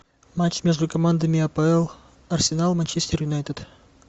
матч между командами апл арсенал манчестер юнайтед